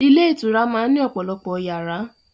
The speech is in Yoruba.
Ilé ìtura máa ń ní ọ̀pọ̀lọpọ̀ yàrá.